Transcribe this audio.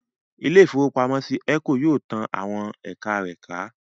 Ilé-ìfowópamọ́sí Eco yóò tán àwọn ẹ̀ka rẹ̀ ká